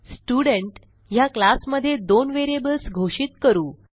student ह्या class मध्ये दोन व्हेरिएबल्स घोषित करू